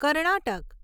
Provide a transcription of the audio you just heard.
Karnataka